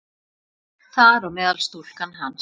Þar á meðal stúlkan hans.